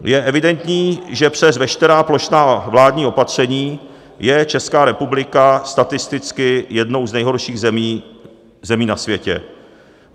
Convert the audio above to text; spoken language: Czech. Je evidentní, že přes veškerá plošná vládní opatření je Česká republika statisticky jednou z nejhorších zemí na světě.